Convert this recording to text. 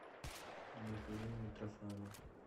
михаил митрофанов